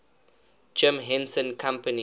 jim henson company